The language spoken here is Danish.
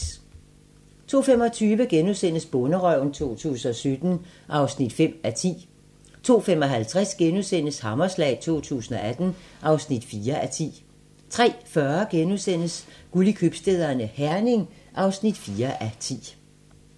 02:25: Bonderøven 2017 (5:10)* 02:55: Hammerslag 2018 (4:10)* 03:40: Guld i købstæderne - Herning (4:10)*